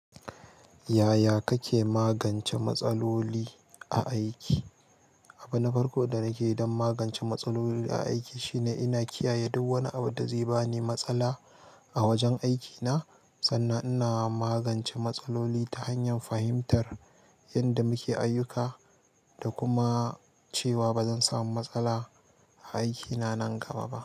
Yaya kake magance matsaloli a aiki? Abu na farko da nake yi don magance matsaloli a aiki shine ina kiyaye duk wani abu da zai bani matsala a wajen aikina, sannan ina magance matsaloli ta hanyar fahimtar yadda muke ayyuka da kuma cewa bazan samu matsala aiki na nan gaba ba.